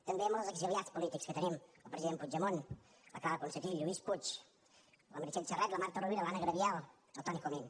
també amb els exiliats polítics que tenim el president puigdemont la clara ponsatí lluís puig la meritxell serret la marta rovira l’anna gabriel el toni comín